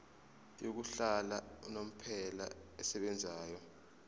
yokuhlala unomphela esebenzayo